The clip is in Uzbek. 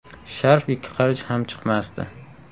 Sharf ikki qarich ham chiqmasdi.